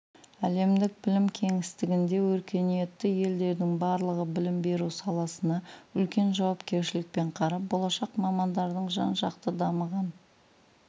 әлемдік білім кеңістігінде өркениетті елдердің барлығы білім беру саласына үлкен жауапкершілікпен қарап болашақ мамандардың жан-жақты дамыған